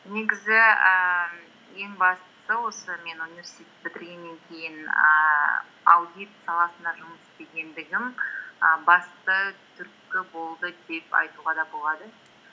негізі ііі ең бастысы осы мен университет бітіргеннен кейін ііі аудит саласында жұмыс істегендігім і басты түрткі болды деп айтуға да болады